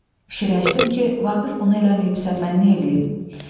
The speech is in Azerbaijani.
Fikirləşdim ki, Vaqif bunu eləməyibsə, mən nə eləyim?